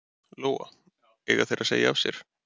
Lóa: Eiga þeir að segja af sér?